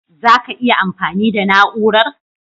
Zaka iya amfani da Na'urar?